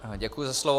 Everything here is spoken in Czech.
Děkuji za slovo.